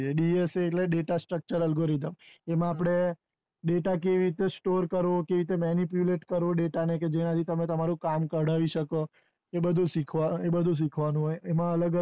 dsa એટલે data structure algorithm એમાં આપડે data કેવી રીતે store કરવો કેવી રીતે manipulate કરવું data ને કે જેનાથી તમે તમારું કામ કડાવી શકો એ બધું શીખવાનું હોય એમાં અલગ અલગ